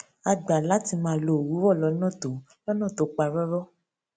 a gbà láti máa lo òwúrò lónà tó lónà tó pa róró